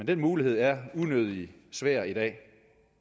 den mulighed er unødig svær i dag